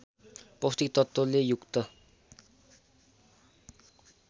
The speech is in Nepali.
पौष्टिक तत्त्वले युक्त